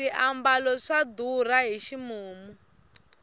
swiambalo swa durha hi ximumu